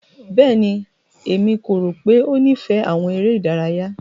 Bẹ́ẹ̀ni, Emi ko ro pe o nifẹ awọn ere idaraya.